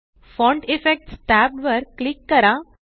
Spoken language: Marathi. फॉन्ट इफेक्ट्स टॅब वर क्लिक करा